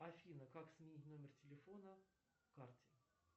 афина как сменить номер телефона карте